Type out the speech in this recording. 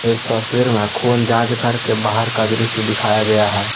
इस तस्वीर में खून जांच घर के बाहर का दृश्य दिखाया गया है।